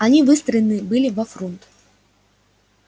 они выстроены были во фрунт